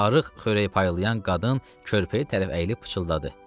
Arıq xörək paylayan qadın körpəyə tərəf əyilib pıçıldadı.